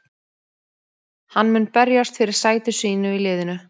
Hann mun berjast fyrir sæti sínu í liðinu.